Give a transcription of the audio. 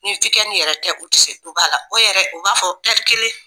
Ni yɛrɛ tɛ u tɛ se duba la o yɛrɛ u b'a fɔ kelen